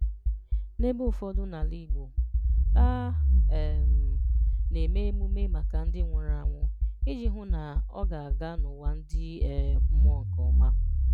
N’ebè ụfọdụ̀ n’Àlà Ìgbò, a um na-èmè emùmé makà ndị́ nwụrụ̀ ànwụ̀ iji hụ́ na ọ̀ ga-agà n’ụ́wà ndị́ um mmụọ̀ nkéọ́ma